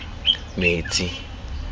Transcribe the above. metsi